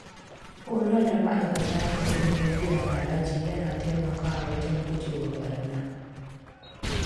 Horar da ma’aikata kan ilimin biyan haraji ya na taimaka wa wajen guje wa ɓarna.